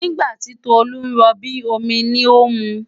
Nígbà tí Tolu ń rọbí, omi ni ó ń mu.